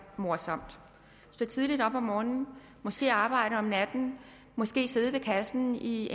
morsomt stå tidligt op om morgenen måske arbejde om natten måske sidde ved kassen i